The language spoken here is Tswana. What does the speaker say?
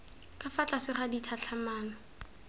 ka fa tlase ga ditlhatlhamano